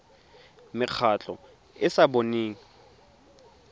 mekgatlho e e sa boneng